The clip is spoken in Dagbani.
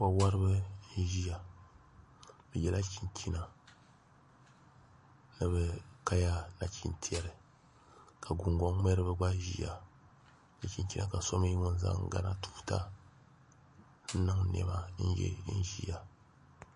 Wo woribi n ʒiya bi yɛla chinchina ni bi kaya nachin tiɛri ka gungoŋ ŋmɛribi gba ʒiya n so chinchina ka so mii gba zaŋ gana tuuta n niŋ niɛma n yɛ n ʒiya